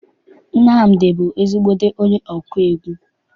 Nnamdi bụ ezigbo onye ọkụ egwu.